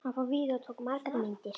Hann fór víða og tók margar myndir.